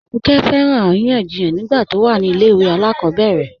Abíkẹ́ fẹ́ràn aríyànjíyàn nígbà tó wà ní ilẹ̀ ìwé alákobèrè